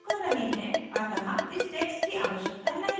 अतः इस text की आवश्यकता नहीं है